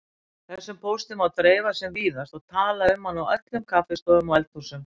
Þessum pósti má dreifa sem víðast og tala um hann á öllum kaffistofum og eldhúsum.